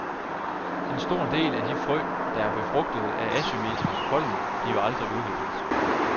En stor del af de frø, der er befrugtede af asymmetriske pollen, bliver aldrig udviklet.